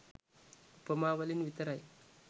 උපමා වලින් විතරයි.